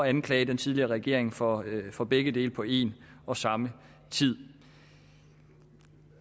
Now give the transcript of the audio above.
anklage den tidligere regering for for begge dele på en og samme tid